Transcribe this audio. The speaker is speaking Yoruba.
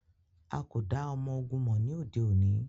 A ko da ọmọ-ogun mọ ni ode oni.